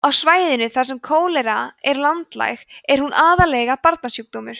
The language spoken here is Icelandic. á svæðum þar sem kólera er landlæg er hún aðallega barnasjúkdómur